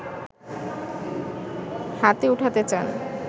হাতে ওঠাতে চান